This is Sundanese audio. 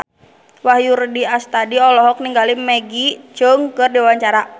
Wahyu Rudi Astadi olohok ningali Maggie Cheung keur diwawancara